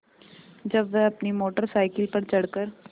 जब वह अपनी मोटर साइकिल पर चढ़ कर